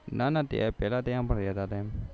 ના ના ત્યાં પેલા ત્યાં ભનેલા હતા એમ